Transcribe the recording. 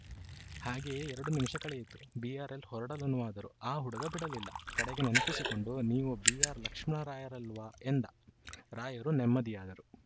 ಹಾಗೆಯೇ ಎರಡು ನಿಮಿಷ ಕಳೆಯಿತು ಬಿಆರ್‌ಎಲ್‌ ಹೊರಡಲನುವಾದರು ಆ ಹುಡುಗ ಬಿಡಲಿಲ್ಲ ಕಡೆಗೆ ನೆನಪಿಸಿಕೊಂಡು ನೀವು ಬಿಆರ್‌ಲಕ್ಷ್ಮಣರಾಯರಲ್ವಾ ಎಂದ ರಾಯರು ನೆಮ್ಮದಿಯಾದರು